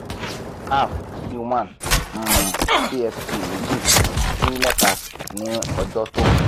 half si one meji si meta ni ojo to